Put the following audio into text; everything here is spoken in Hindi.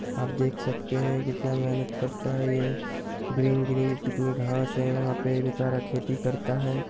आप देख सकते हैं कि क्या मेहनत करता है ये? ग्रीन ग्रीन कितनी घास है यहाँ पे बेचारा खेती करता है।